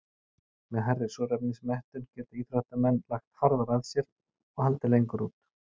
Með hærri súrefnismettun geta íþróttamenn lagt harðar að sér og haldið lengur út.